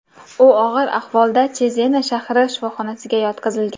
U og‘ir ahvolda Chezena shahri shifoxonasiga yotqizilgan.